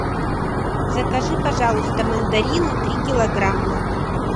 закажи пожалуйста мандарины три килограмма